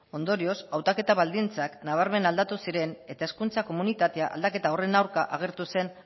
ondorioz hautaketa baldintzak nabarmen aldatu ziren eta hezkuntza komunitatea aldaketa horren aurka agertu zen